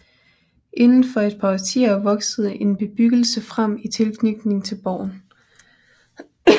Inden for et par årtier voksede en bebyggelse frem i tilknytning til borgen